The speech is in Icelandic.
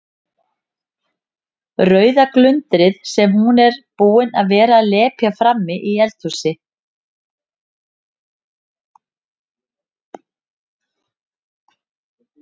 Rauða glundrið sem hún er búin að vera að lepja frammi í eldhúsi.